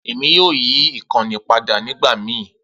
Emi yoo yi ikanni pada nigbamii.